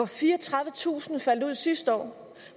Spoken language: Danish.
fireogtredivetusind faldt ud sidste år